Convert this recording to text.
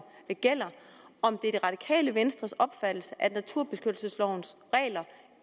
gælder om det er det radikale venstres opfattelse at naturbeskyttelseslovens regler